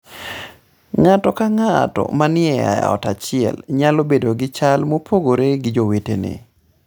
Ng'ato ka ng'ato manie ot achiel nyalo bedo gi chal mopogore gi jowetene.